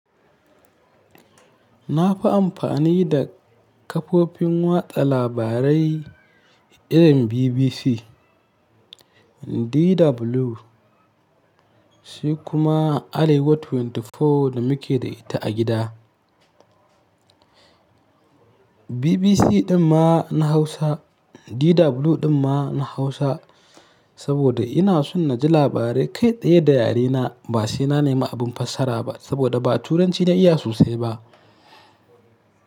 Na fi amfani da kafofin watsa labarai irin BBC, DW, sai kuma Arewa24 da muke da ita a gida. BBC ɗin ma na hausa, DW ɗin ma na hausa saboda ina so na ji labarai kai ɗaya da yare na. Ba saina neman abin fassara ba saboda ba Turanci na iya sosai ba.